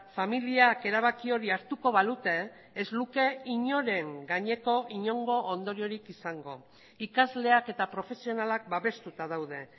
familiak erabaki hori hartuko balute ez luke inoren gaineko inongo ondoriorik izango ikasleak eta profesionalak babestuta daude